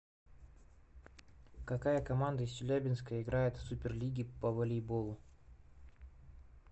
какая команда из челябинска играет в суперлиге по волейболу